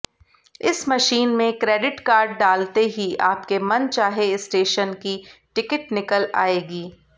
इस मशीन में credit card डालते ही आपके मनचाहे स्टेशन की टिकट निकल आएगी